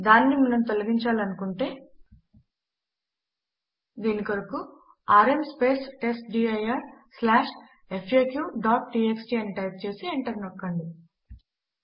దానిని మనము తొలగించాలనుకుంటే దీని కొరకు ఆర్ఎం testdirfaqటీఎక్స్టీ అని టైప్ చేసి ఎంటర్ నొక్కండి